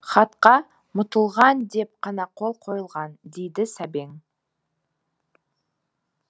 хатқа мұтылған деп қана қол қойылған дейді сәбең